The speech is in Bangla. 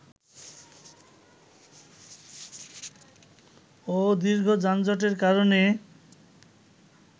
ও দীর্ঘ যানজটের কারণে